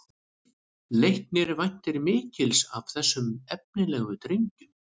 Leiknir væntir mikils af þessum efnilegu drengjum